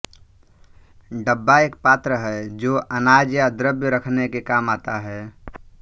डब्बा एक पात्र है जो अनाज या द्रव्य रखने के काम आता है